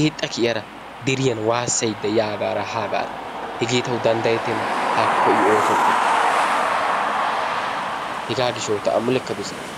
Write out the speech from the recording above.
eexxa kiyara deriyan waassayidda yaagaara haagaara hegee tawu danddayettenna. Haakko I oosoppe. Hegaa gishshawu ta a mulekka dosikke